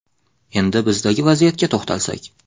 Endi bizdagi vaziyatga to‘xtalsak.